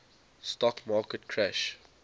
stock market crash